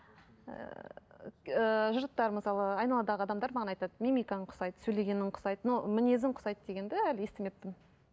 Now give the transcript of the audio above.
ііі жұрттар мысалы айналадағы адамдар маған айтады мимикаң ұқсайды сөйлегенің ұқсайды но мінезің ұқсайды дегенді әлі естімеппін